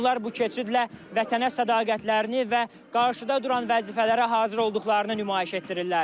Onlar bu keçidlə vətənə sədaqətlərini və qarşıda duran vəzifələrə hazır olduqlarını nümayiş etdirirlər.